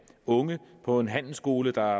unge på en handelsskole der